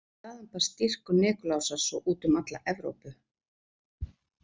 Þaðan barst dýrkun Nikulásar svo út um alla Evrópu.